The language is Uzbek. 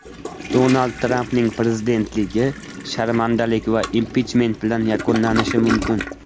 Donald Trampning prezidentligi sharmandalik va impichment bilan yakunlanishi mumkin.